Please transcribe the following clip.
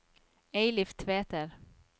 Eilif Tveter